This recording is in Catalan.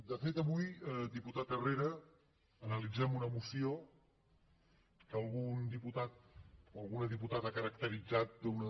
de fet avui diputat herrera analitzem una moció que algun diputat o alguna diputada ha caracteritzat d’una